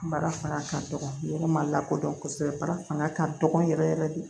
Baara fanga ka dɔgɔ yɔrɔ ma lakodɔn kosɛbɛ bara fanga ka dɔgɔ yɛrɛ yɛrɛ de